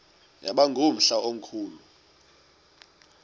yaba ngumhla omkhulu